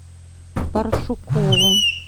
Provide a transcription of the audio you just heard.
паршукову